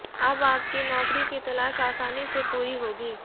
अब आपकी नौकरी की तलाश आसानी से पूरी होगी